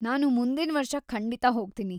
ನಾನು ಮುಂದಿನ್ವರ್ಷ ಖಂಡಿತ ಹೋಗ್ತೀನಿ.